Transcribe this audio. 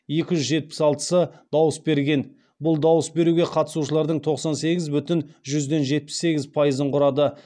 екі жүз жетпіс алтысы дауыс берген бұл дауыс беруге қатысушылардың тоқсан сегіз бүтін жүзден жетпіс сегіз пайыз пайызын құрады